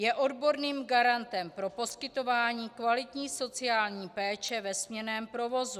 Je odborným garantem pro poskytování kvalitní sociální péče ve směnném provozu.